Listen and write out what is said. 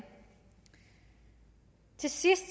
til sidst